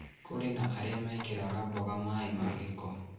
Kũri na arĩa mekĩraga mboga maaĩ ma gĩko